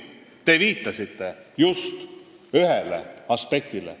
" Te viitasite just ühele aspektile.